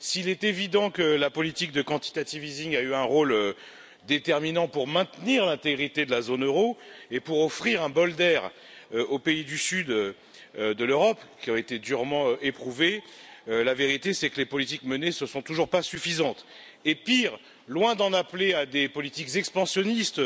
S'il est évident que la politique d'assouplissement quantitatif a eu un rôle déterminant pour maintenir l'intégrité de la zone euro et pour offrir un bol d'air aux pays du sud de l'Europe qui ont été durement éprouvés, la vérité est que les politiques menées ne sont toujours pas suffisantes. Pire, loin d'en appeler à des politiques expansionnistes,